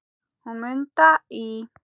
Hún Munda í